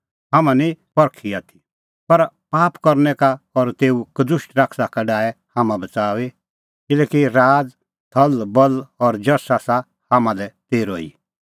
हाम्हां निं परखी आथी पर हर पाप करनै का और तेऊ कदुष्ट शैताना का डाहै हाम्हां बच़ाऊई किल्हैकि राज़ थलबल और जश आसा हाम्हां लै तेरअ ई